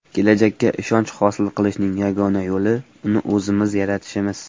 Kelajakka ishonch hosil qilishning yagona yo‘li uni o‘zimiz yaratishimiz.